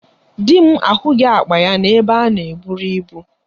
Di m ahụghị akpa ya n'ebe a na eburu ibu.